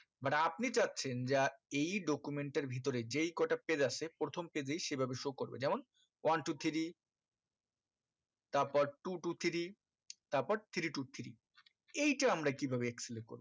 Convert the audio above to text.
but আপনি চাচ্ছেন যে এই document এর ভিতরে যেই কটা page আছে প্রথম page এই সেভাবে show করবে যেমন one two three তারপর two two three তারপর three two three এইটা আমরা কি ভাবে excel এ করবো